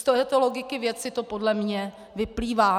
Z této logiky věci to podle mě vyplývá.